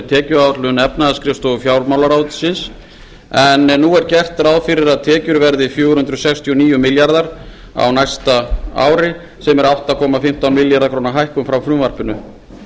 tekjuáætlun efnahagsskrifstofu fjármálaráðuneytis en nú er gert ráð fyrir að tekjur verði fjögur hundruð sextíu og níu komma þrír milljarðar króna á næsta ári sem er átta komma fimmtán milljarða króna hækkun frá frumvarpinu